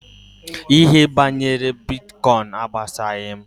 Ihe banyere Bitkọin agbasaghị m.